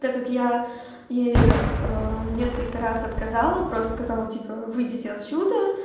так я и несколько раз отказала просто сказала типа выйдите отсюда